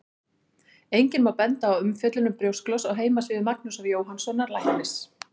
Einnig má benda á umfjöllun um brjósklos á heimasíðu Magnúsar Jóhannssonar læknis.